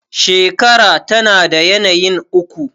shekara tana da yanayin uku